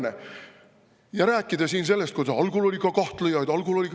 Ja siin räägitakse sellest, et algul oli ka kahtlejaid.